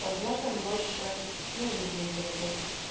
возможно мы больше не выпьем за любовь